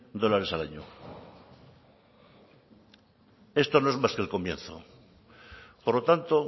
dólares al año esto no es más que el comienzo por lo tanto